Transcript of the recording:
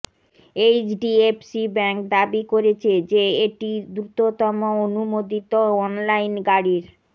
HDFC bank দাবি করেছে যে এটি দ্রুততম অনুমোদিত অনলাইন গাড়ির